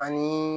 Ani